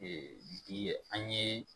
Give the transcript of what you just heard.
Ee bi an ye